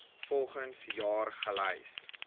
volgens jaar gelys